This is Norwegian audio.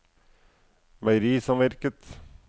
meierisamvirket